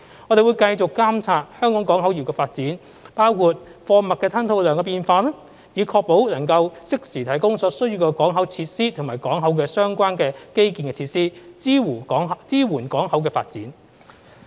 我們會繼續監察香港港口業的發展，包括貨物吞吐量的變化，以確保能夠適時提供所需的港口設施及與港口相關的基建設施，支援港口發展。